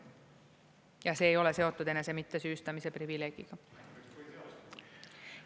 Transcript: Ja see ei ole seotud enese mittesüüstamise privileegiga.